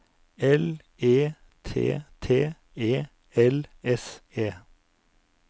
L E T T E L S E